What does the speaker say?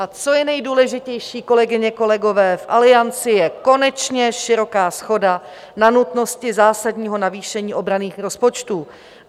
A co je nejdůležitější, kolegyně, kolegové, v Alianci je konečně široká shoda na nutnosti zásadního navýšení obranných rozpočtů.